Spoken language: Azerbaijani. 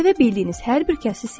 Sevə bildiyiniz hər bir kəsi sevin.